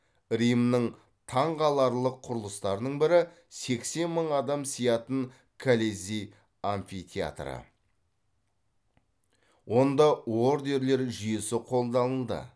римнің таңқаларлық құрлыстарының бірі сексен мың адам сиятын колизей амфитеатры онда ордерлер жүйесі қолданылды